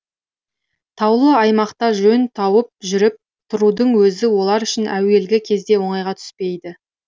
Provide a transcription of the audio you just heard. таулы аймақта жөн тауып жүріп тұрудың өзі олар үшін әуелгі кезде оңайға түспейді